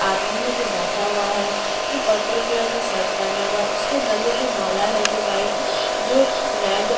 आदमी है जो बैठा हुआ है जो पर्पल कलर का शर्ट पहना हुआ है उसके गले में माला है जो व्हाइट जो रेड --